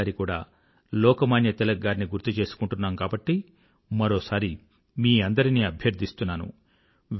ఈసారి కూడా లోకమాన్య తిలక్ గారిని గుర్తుచేసుకుంటున్నాం కాబట్టి మరోసారి మీ అందరినీ అభ్యర్థిస్తున్నాను